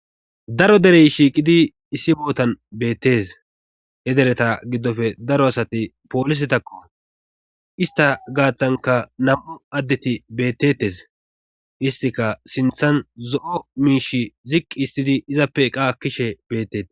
Daro derey shiiqidi issi bootan beettes he dereta giddofe daro asati poolise takko ista gaaththanka nam7u addeti bettettes istika sinthan zo7o miish ziqqi istidi izappe qa akkishe betteti.